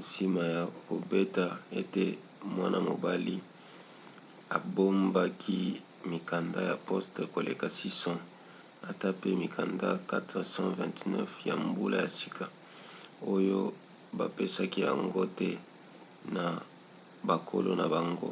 nsima ya koyeba ete mwana-mobali abombaki mikanda ya poste koleka 600 ata pe mikanda 429 ya mbula ya sika oyo bapesaki yango te na bakolo na yango